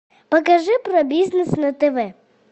покажи про бизнес на тв